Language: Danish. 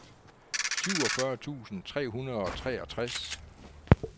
syvogfyrre tusind tre hundrede og treogtres